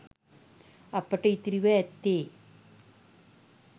අපට ඉතිරිව ඇත්තේ